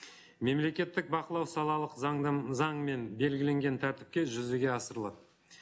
мемлекеттік бақылау салалық заңымен белгіленген тәртіпке жүзеге асырылады